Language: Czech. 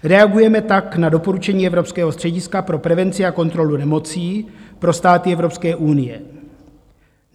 Reagujeme tak na doporučení Evropského střediska pro prevenci a kontrolu nemocí pro státy Evropské unie.